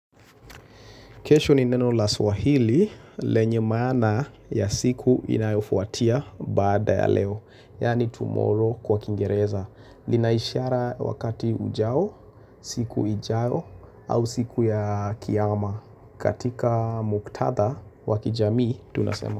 Kesho ni neno la swahili lenye maana ya siku inayofuatia baada ya leo. Yani tomorrow kwa kiingereza. Linaishara wakati ujao, siku ijao, au siku ya kiama. Katika muktadha wakijamii tunasema.